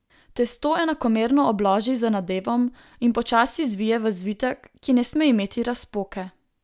Testo enakomerno obloži z nadevom in počasi zvije v zvitek, ki ne sme imeti razpoke.